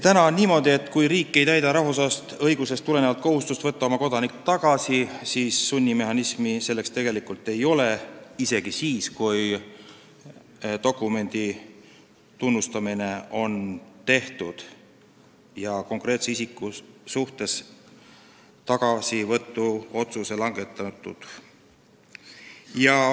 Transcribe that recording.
Praegu on niimoodi, et kui riik ei täida rahvusvahelisest õigusest tulenevat kohustust võtta oma kodanik tagasi, siis sunnimehhanismi selleks tegelikult ei ole – isegi kui dokumenti on tunnustatud ja konkreetse isiku suhtes tagasivõtuotsus langetatud.